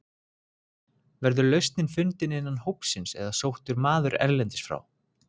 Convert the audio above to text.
Verður lausnin fundin innan hópsins eða sóttur maður erlendis frá?